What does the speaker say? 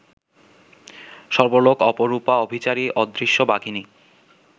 সর্বলোক অপরূপা অভিচারী অদৃশ্য বাঘিনী